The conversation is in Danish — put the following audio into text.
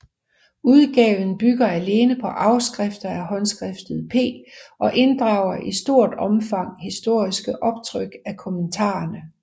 Udgaven bygger alene på afskrifter af håndskriftet P og inddrager i stort opfang historiske optryk af kommentarerne